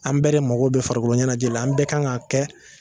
An bɛɛ de mago bɛ farikoloɲɛnajɛ la an bɛɛ kan k'a kɛ